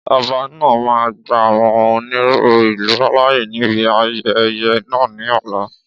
Ọba náà máa gba àwọn onílù ìlú láàyè níbi ayẹyẹ náà ní ọ̀la